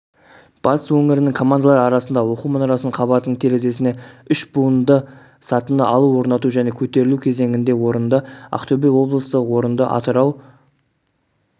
батыс өңірінің командалары арасында оқу мұнарасының қабатының терезесіне үш буынды сатыны алу орнату және көтерілу кезеңінде орынды ақтөбе облысы орынды атырау